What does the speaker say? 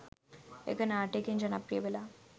එක නාට්‍යයකින් ජනප්‍රිය වෙලා